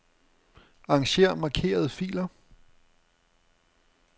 Arranger markerede filer.